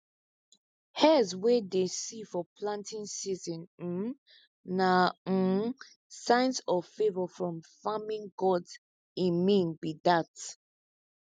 hares wey dey see for planting season um na um signs of favour from farming gods e mean be dat